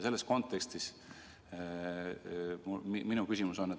Selles kontekstis on mul küsimus.